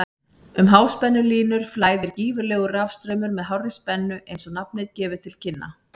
Um háspennulínur flæðir gífurlegur rafstraumur með hárri spennu eins og nafnið gefur til kynna.